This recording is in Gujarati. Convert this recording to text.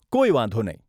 કોઈ વાંધો નહીં.